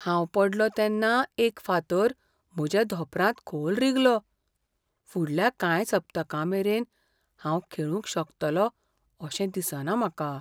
हांव पडलों तेन्ना एक फातर म्हज्या धोंपरांत खोल रिगलो. फुडल्या कांय सप्तकांमेरेन हांव खेळूंक शकतलों अशें दिसना म्हाका.